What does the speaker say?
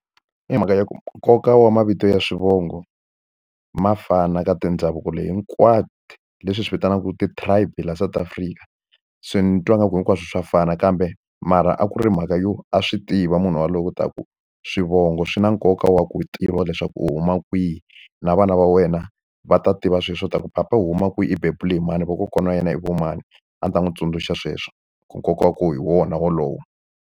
I mhaka ya nkoka wa mavito ya swivongo ma fana ka tindhavuko leyi hinkwato, leswi hi swi vitanaka ti-tribe laha South Africa. Se ni twa ngaku hinkwaswo swa fana kambe mara a ku ri mhaka yo a swi tiva munhu yaloyo leswaku swivongo swi na nkoka wa ku tiva leswaku u huma kwihi. Na vana va wena va ta tiva swilo swa leswaku papa u huma kwihi, i bebule hi mani, vakokwana wa yena i va mani. A ni ta n'wi tsundzuxa sweswo ku nkoka wa kona hi wona wolowo.